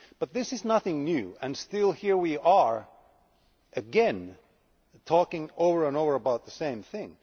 But this is nothing new and here we are again talking over and over about the same thing.